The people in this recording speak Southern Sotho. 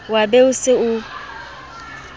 wa be o se o